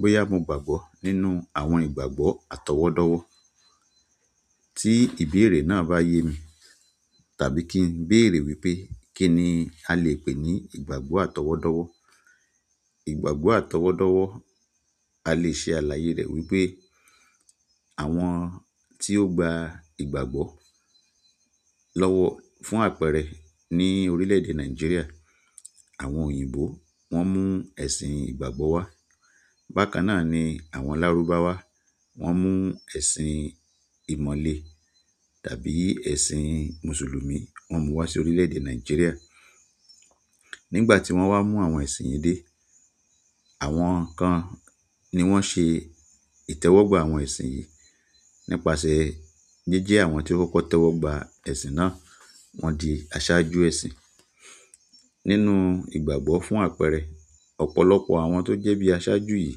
Boya mo gbàgbọ́ nínú àwọn ìgbàgbọ́ àti owodo wo ti ìbéèrè na ba ye mi tàbí kin beere wípé kini alẹ́ pe ni ìgbàgbọ́ àti owodowo ìgbàgbọ́ àtọwọ́dọ́wọ́ a lè ṣe àlàyé rẹ̀ wípé àwọn tí ó gba ìgbàgbọ́ lọ́wọ́ fún àpẹẹrẹ ní orílẹ̀ èdè Nàìjíríà, àwọn òyìnbó wọ́n mú ẹ̀sìn ìgbàgbọ́ wá. Bákan náà ni àwọn Lárúbáwá, wọ́n mú ẹ̀sìn ìmọ̀le tàbí ẹ̀sìn Mùsùlùmí, wọ́n mú wá sí orílẹ̀ èdè Nàìjíríà. Nígbà tí wọ́n wá mú àwọn ẹ̀sìn yìí dé, àwọn kan ni wọ́n ṣe ìtẹ́wọ́gbà àwọn ẹ̀sìn yìí. Nípasẹ̀ jíjẹ́ àwọn tí ó kọ́kọ́ tẹ́wọ́gbà ẹ̀sìn náà, wọ́n di aṣáájú ẹ̀sìn. Nínú ìgbàgbọ́ fún àpẹẹrẹ, ọ̀pọ̀lọpọ̀ àwọn tó jẹ́ bí i aṣáájú yìí,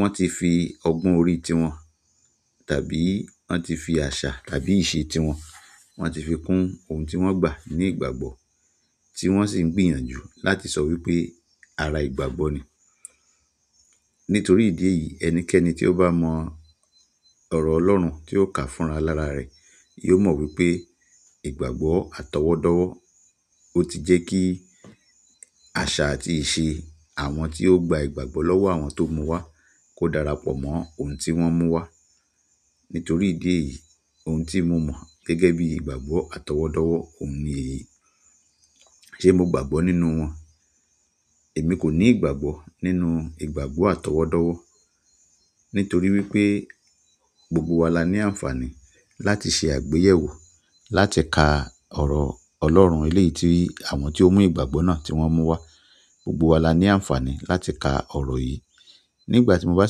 wọ́n ti fi ọgbọ́n orí tiwọn tàbí wọ́n ti fi àṣà tàbí ìṣi tiwọn, wọ́n ti fi kun ohun tí wọ́n gbà ní ìgbàgbọ́, tí wọ́n sì ń gbìyànjú láti sọ wípé ara ìgbàgbọ́ ni. Nítorí ìdí èyí ẹnikẹ́ni tí ó bá mọ ọ̀rọ̀ Ọlọ́run tí ó kà fúnra lára rẹ̀ yóò mọ wípé ìgbàgbọ́ àtọwọ́dọ́wọ́ ó ti jẹ́ kí àṣà àti ìṣe àwọn tí ó gba ìgbàgbọ́ lọ́wọ́ àwọn tó mú wá kó darapọ̀ mọ́ ohun tí wọ́n mú wá. Nítorí ìdí èyí ohun tí mo mọ̀ gẹ́gẹ́ bí ìgbàgbọ́ àtọwọ́dọ́wọ́ òun ni èyí. Ṣé mo gbàgbọ́ nínú wọn? Èmi kò ní ìgbàgbọ́ nínú ìgbàgbọ́ àtọwọ́dọ́wọ́. Nítorí wípé gbogbo wa la ní àǹfààní láti ṣe àgbéyẹ̀wò láti ka ọ̀rọ̀ Ọlọ́run eléyìí tí àwọn tí ó mú ìgbàgbọ́ náà tí wọ́n mú wá. Gbogbo wa la ní àǹfààní láti ka ọ̀rọ̀ yìí. Nígbà tí mo bá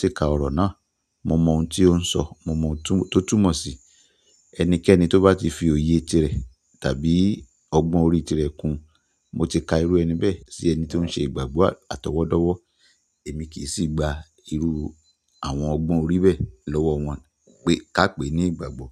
ṣe ka ọ̀rọ̀ náà, mo mọ ohun tí ó ń sọ, mo mọ ohun tó túmọ̀ sí i. Ẹnikẹ́ni toba ti fi oye tire tàbí ogbon orí tire kun mo ti ka eru ẹni be si ẹni ton se ìgbàgbọ́ atowodowo. Èmi kì í sì gba irú àwọn ọgbọ́n orí bẹ́ẹ̀ lọ́wọ́ wọn ká pè ní ìgbàgbọ́.